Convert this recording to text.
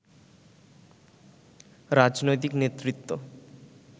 রাজনৈতিক নেতৃত্ব